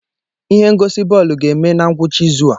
Ihe ngosi bọọlụ ga-eme na ngwụcha izu a.